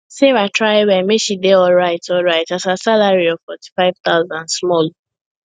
sarah try well make she dey alryt alryt as her salary of fourty five thousand small